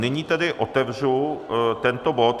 Nyní tedy otevřu tento bod.